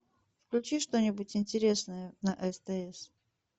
включи что нибудь интересное на стс